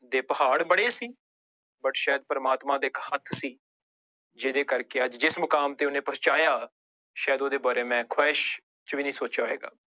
ਦੇ ਪਹਾੜ ਬੜੇ ਸੀ but ਸ਼ਾਇਦ ਪ੍ਰਮਾਤਮਾ ਦਾ ਇੱਕ ਹੱਥ ਸੀ, ਜਿਹਦੇ ਕਰਕੇ ਅੱਜ ਜਿਸ ਮੁਕਾਮ ਤੇ ਉਹਨੇ ਪਹੁੰਚਾਇਆ ਸ਼ਾਇਦ ਉਹਦੇ ਬਾਰੇ ਮੈਂ ਖੁਹਾਇਸ਼ ਚ ਵੀ ਨੀ ਸੋਚਿਆ ਹੋਏਗਾ।